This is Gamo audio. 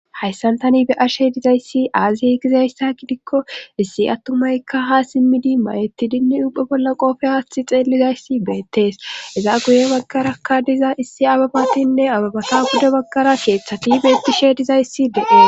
hayssan tani be ashe dizayssi aaze gizayssa gidikko issi attumaykka ha simmidi mayettidinne ubphe bolla qoofe haathi xeellizayssi beettees iza guye baggarakka diza issi ababatinne ababata bude baggara keeththati beettishe dizayssi de7ie